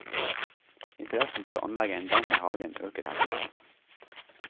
Interessen for å anlegge en dam i hagen øker her til lands.